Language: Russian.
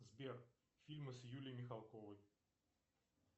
сбер фильмы с юлией михалковой